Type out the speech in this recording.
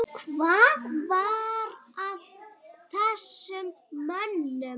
Hvað var að þessum mönnum?